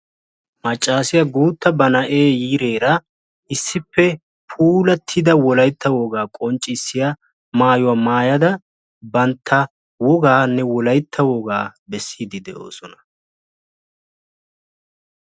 maccassiya guutta ba na'ee yiireera issippe puulatida wolaytta wogaa qonccissiya maayuwaa maayaada bantta woganne wolaytta wogaa beesside doosona.